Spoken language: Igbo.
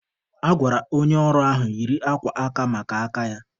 A gwara onye ọrụ ahụ yiri akwa aka maka aka ya.